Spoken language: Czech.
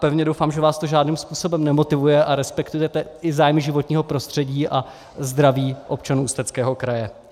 Pevně doufám, že vás to žádným způsobem nemotivuje a respektujete i zájmy životního prostředí a zdraví občanů Ústeckého kraje.